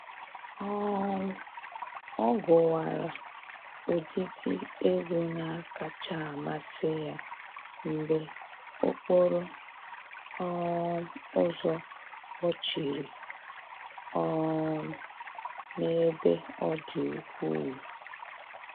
um Ọ gụwara ụdịdị egwu na-akacha amasị ya mgbe okporo um ụzọ kpọchiri um n'ebe ọ dị ukwuu